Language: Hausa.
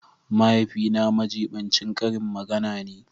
Mahaifina majibincin karin magana ne